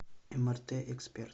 мрт эксперт